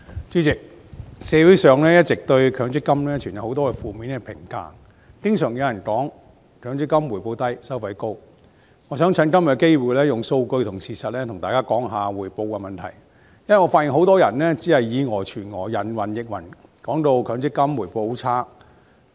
主席，社會上一直對強制性公積金存有很多負面的評價，經常有人說強積金回報低、收費高，我想藉着今天的機會利用數據和事實談談回報的問題，因為我發現很多人只是以訛傳訛、人云亦云，說強積金回報率很差。